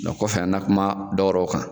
Dɔn kɔfɛ an na kuma dɔ wɛrɛw kan